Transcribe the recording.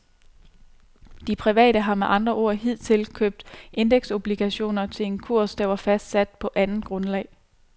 De private har med andre ord hidtil købt indeksobligationer til en kurs, der var fastsat på andet grundlag.